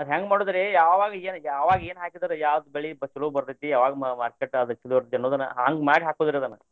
ಅದ್ ಹೆಂಗ್ ಮಾಡೋದ್ರಿ ಯಾವಾಗ ಏನ್ ಯಾವಾಗ ಏನ್ ಹಾಕಿದರ ಯಾವ ಬೆಳಿ ಚೊಲೋ ಬರ್ತೈತಿ ಯಾವಾಗ ಚೊಲೋ ಇರ್ತೆ ಅನ್ನೋದನ್ನ ಹಂಗ್ ಮಾಡಿ ಹಾಕೋದ್ರಿ ಅದನ್ನ.